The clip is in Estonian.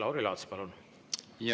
Lauri Laats, palun!